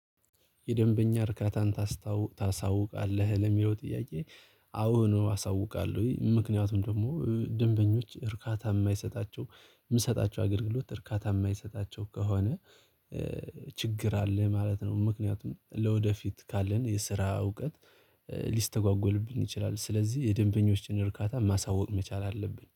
የደንበኛ እርካታን ታስታውቃለህ ለሚለው ጥያቄ? አዎ ነው አሳውቃለሁ ወይ ምክንያቱም ደግሞ ደንበኞች እርካታ የማይሰጣቸው የምሰጣቸው አገልግሎት እርካታ የማይሰጣቸው ከሆነ። ችግር አለ ማለት ነው ምክንያቱም ለወደፊት ካለን የስራ እውቀት ሊስተጓጎልብን ይችላል። ስለዚህ የደንበኞችን እርካታ ማሳወቅ መቻል አለብን